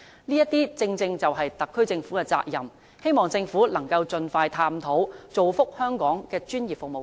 這些正正是特區政府的責任，希望政府能夠盡快探討，造福香港的專業服務界。